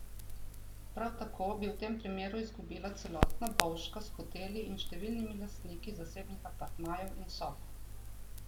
Prav tako bi v tem primeru izgubila celotna Bovška s hoteli in številnimi lastniki zasebnih apartmajev in sob.